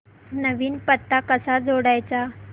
नवीन पत्ता कसा जोडायचा